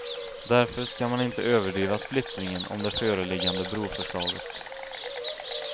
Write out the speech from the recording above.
Därför skall man inte överdriva splittringen om det föreliggande broförslaget.